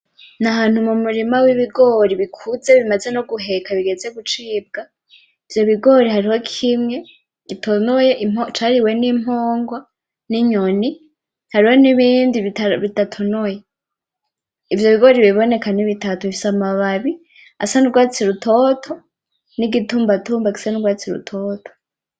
N'ahantu mu murima w'ibigori bikuze bimaze no guheka bigeze no gucibwa ivyo bigori hariho kimwe gitonoye cariwe n'impungwa n'inyoni, hariho n'ibindi bidatonoye, ivyo bigori biraboneka nibitatu bifise amababi asa n'urwatsi rutoto n'igitumbatumba gisa n'urwatsi rutoto.